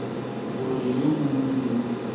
gore yo mongwe le yo